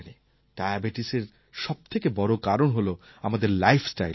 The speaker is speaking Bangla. আমরা সবাই জানি ডায়াবেটিসএর সবথেকে বড় কারণ হল আমাদের